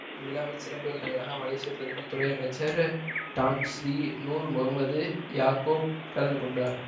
இவ்விழாவில் சிறப்பு விருந்தினராக மலேசிய பிரதமர் துறை அமைச்சர் டான்ஸ்ரீ நூர் முகம்மது யாக்கோப் கலந்துகொண்டார்